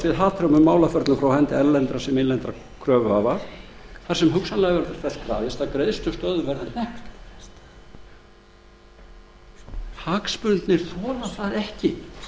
við hatrömmum málaferlum frá hendi erlendra sem innlendra kröfuhafa þar sem þess verður hugsanlega krafist að greiðslustöðvun verði hnekkt hagsmunirnir þola það ekki